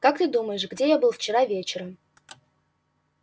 как ты думаешь где я был вчера вечером